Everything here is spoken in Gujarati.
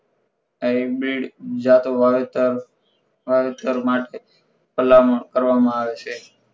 hybrid જાતો વાવેતર વાવેતર માટે ભલામણ કરવામાં આવે છે